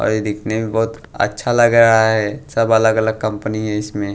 और यह दिखने में बहुत अच्छा लग रहा है सब अलग-अलग कंपनी हैं इसमें--